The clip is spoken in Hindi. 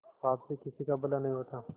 पाप से किसी का भला नहीं होता